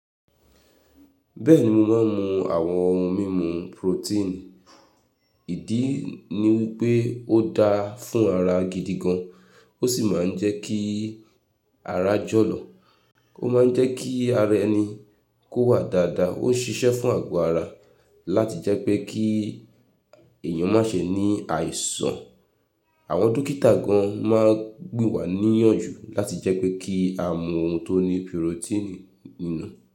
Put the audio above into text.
Bẹ́ẹ̀ni, mo máa ń mu àwọn ohun mímu protein. Ìdí ni wípé ó dáa fún ara gidi gan, ó sì máa ń jẹ́ kí ara jọ̀lọ̀. Ó ma ń jẹ́ kí ara ẹni kó wà dáadáa, ó ń ṣiṣẹ́ fún àgọ́ ara láti jẹ́ pé kí èyàn má ṣe ní àìsàn. Àwọn dókítà gan máa ń gba wa níyànjú láti jẹ́ pé kí á mu ohun tó ní protein nínú.